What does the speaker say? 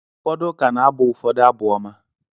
Ụfọdụ ụka na-abụ ụfọdụ Abụ Ọma.